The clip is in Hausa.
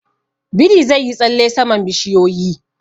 Biri zai yi tsalle saman bishiyoyi.